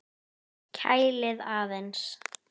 Kælið aðeins.